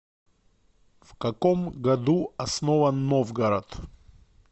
в каком году основан новгород